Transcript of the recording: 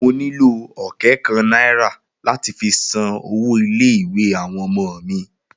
Mo nílò ọ̀kẹ́ kan náírà láti fi san owó ilé ìwé àwọn ọmọ mi